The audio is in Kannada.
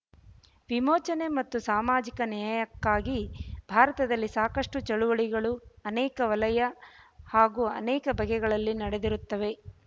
ವಿಮೋಚನೆ ಮತ್ತು ಸಾಮಾಜಿಕ ನ್ಯಾಯಕ್ಕಾಗಿ ಭಾರತದಲ್ಲಿ ಸಾಕಷ್ಟು ಚಳುವಳಿಗಳು ಅನೇಕ ವಲಯ ಹಾಗೂ ಅನೇಕ ಬಗೆಯಲ್ಲಿ ನಡೆದಿರುತ್ತವೆ